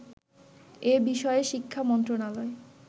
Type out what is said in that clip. এ বিষয়ে শিক্ষা মন্ত্রণালয়